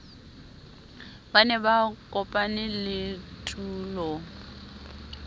ba ne ba kopanele tulong